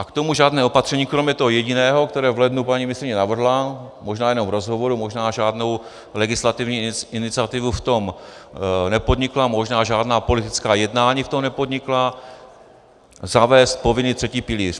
A k tomu žádné opatření kromě toho jediného, které v lednu paní ministryně navrhla, možná jenom v rozhovoru, možná žádnou legislativní iniciativu v tom nepodnikla, možná žádná politická jednání v tom nepodnikla - zavést povinný třetí pilíř.